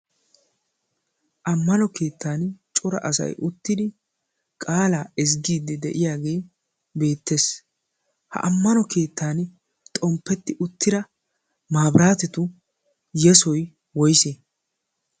ammano keettan cora asai uttidi qaalaa ezggiiddi de7iyaagee beettees. ha ammano keettan xomppetti uttida maabiraatetu yesoi woise?